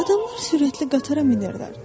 Adamlar sürətli qatara minirlər.